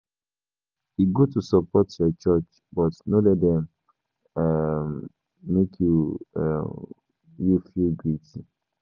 E good to support your church, but no let dem um make um you feel guilty.